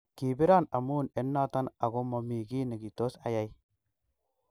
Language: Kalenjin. Kipiron amun en noton ago momi ki nekitos ayai.